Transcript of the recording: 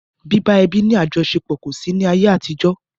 Bíbá ẹbí ní àjọṣepọ̀ kò sí ní ayé àtijó.